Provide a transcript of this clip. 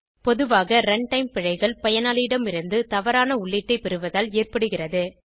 பொதுவாக ரன்டைம் பிழைகள் பயனாளியிடமிருந்து தவறான உள்ளீட்டை பெறுவதால் ஏற்படுகிறது